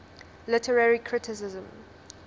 literary criticism